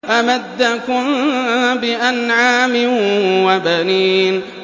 أَمَدَّكُم بِأَنْعَامٍ وَبَنِينَ